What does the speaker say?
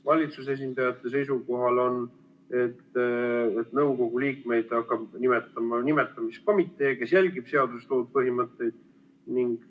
Valitsuse esindajate seisukoht on, et nõukogu liikmeid hakkab nimetama nimetamiskomitee, kes jälgib seaduses toodud põhimõtteid.